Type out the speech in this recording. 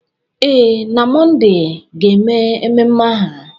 Ee, na Mọnde ga-eme ememe aha,